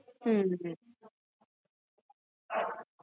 ਅਗਸਤ ਤੋਂ ਬਾਦ ਫੇਰ ਅਸੀ job change ਕੀਤੀ ਤਬ ਤਕ ਥੋੜੀ ਚੀਜ਼ਾਂ normalise